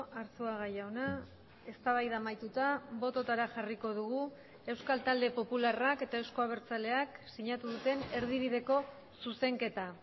arzuaga jauna eztabaida amaituta bototara jarriko dugu euskal talde popularrak eta euzko abertzaleak sinatu duten erdibideko zuzenketa